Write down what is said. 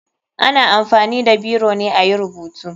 Ana amfani da biro ne ayi rubutu.